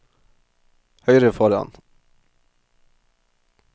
høyre foran